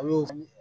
A b'o